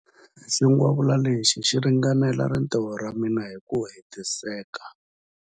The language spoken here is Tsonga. Xingwavila lexi xi ringanela rintiho ra mina hi ku hetiseka.